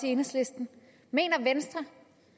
i enhedslisten mener venstre